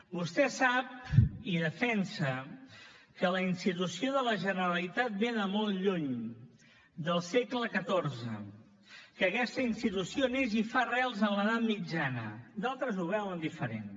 vostè sap i defensa que la institució de la generalitat ve de molt lluny del segle xiv que aquesta institució neix i fa arrels a l’edat mitjana d’altres ho veuen diferent